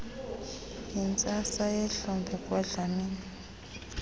yintsasa yehlobo kwadlamini